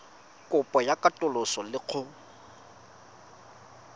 kopo ya katoloso le go